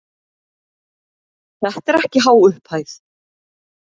Þetta er ekki há upphæð.